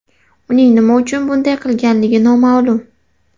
Uning nima uchun bunday qilganligi noma’lum.